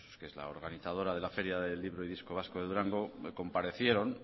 que es la organizadora de la feria del libro y disco vasco de durango comparecieron